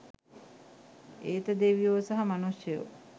ඒත දෙවියෝ සහ මනුෂ්‍යයෝ